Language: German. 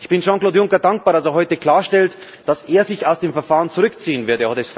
Ich bin Jean Claude Juncker dankbar, dass er heute klarstellt, dass er sich aus dem Verfahren zurückziehen wird.